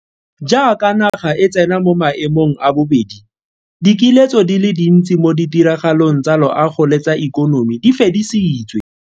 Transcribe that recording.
Jaaka naga e tsena mo mae mong a bobedi, dikiletso di le dintsi mo ditiragalong tsa loago le tsa ikonomi di fedisitswe.